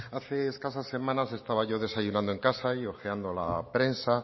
hace escasas semanas estaba desayunando en casa y ojeando la prensa